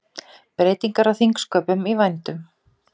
Breytingar á þingsköpum í vændum